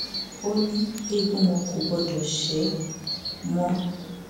ó ní eegun wọn kò gbọdọ ṣe mọ